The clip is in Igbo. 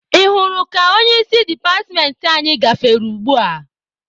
Ị hụrụ ka onye isi departmentị anyị gafere ugbua?